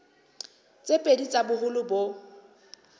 tse pedi tsa boholo bo